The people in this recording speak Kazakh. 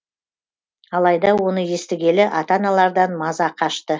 алайда оны естігелі ата аналардан маза қашты